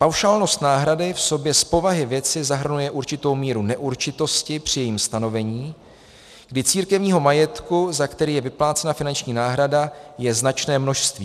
Paušálnost náhrady v sobě z povahy věci zahrnuje určitou míru neurčitosti při jejím stanovení, kdy církevního majetku, za který je vyplácena finanční náhrada, je značné množství.